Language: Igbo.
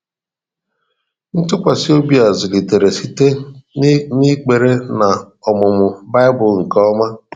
Ntụkwasị obi a zulitere site n’ekpere na ọmụmụ Baịbụl nke ọma.